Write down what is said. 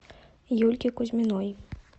юльки кузьминой